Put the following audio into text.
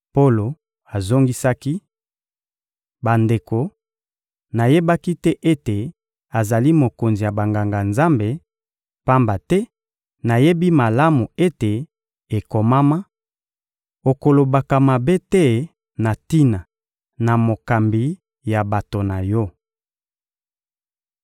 Polo azongisaki: — Bandeko, nayebaki te ete azali mokonzi ya Banganga-Nzambe, pamba te nayebi malamu ete ekomama: «Okolobaka mabe te na tina na mokambi ya bato na yo.»